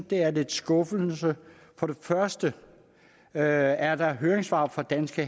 det er lidt skuffende for det første er er der høringssvar fra danske